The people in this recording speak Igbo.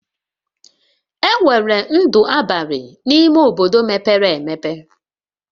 Enwere ndụ abalị n'ime obodo mepere emepe